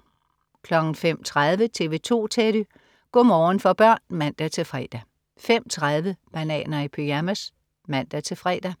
05.30 TV 2 Teddy. Go' morgen for børn (man-fre) 05.30 Bananer i pyjamas (man-fre)